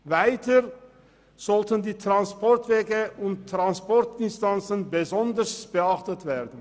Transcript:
Weiter sollten die Transportwege und -distanzen besonders beachtet werden.